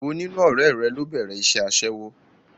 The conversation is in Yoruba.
È wo nínú ọ̀rẹ́ rẹ ló bẹ̀rẹ̀ iṣẹ́ Aṣẹ́wó?